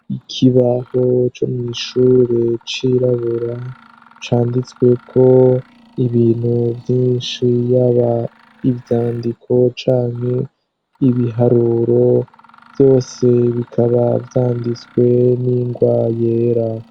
Ikibaho co mw'ishure, cirabura canditswe ko ibintu vyinshi yaba ivyandiko canke ibiharuro, vyose bikaba vyanditswe n'ingwa yera.